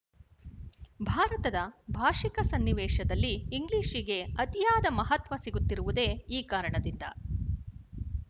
ಭಾರತದ ಭಾಶಿಕ ಸನ್ನಿವೇಶದಲ್ಲಿ ಇಂಗ್ಲಿಶಿಗೆ ಅತಿಯಾದ ಮಹತ್ವ ಸಿಗುತ್ತಿರುವುದೇ ಈ ಕಾರಣದಿಂದ